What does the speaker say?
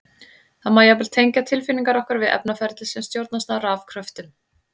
Það má jafnvel tengja tilfinningar okkar við efnaferli sem stjórnast af rafkröftum!